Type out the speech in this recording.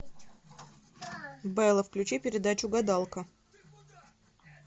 бэлла включи передачу гадалка